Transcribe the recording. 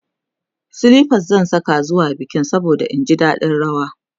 silifas zan Saka zuwa bikin saboda in ji daɗin rawa